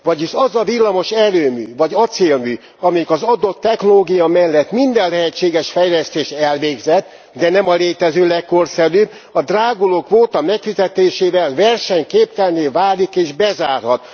Vagyis az a villamos erőmű vagy acélmű, amelyik az adott technológia mellett minden lehetséges fejlesztést elvégzett, de nem a létező legkorszerűbb, a dráguló kvóta megfizetésével versenyképtelenné válik és bezárhat.